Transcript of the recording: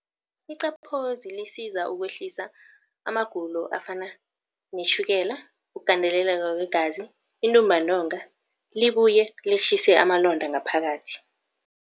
Iqaphozi lisiza ukwehlisa amagulo afana netjhukela, ukugandeleleka kwegazi, intumbantonga libuye litjhise amalonda ngaphakathi.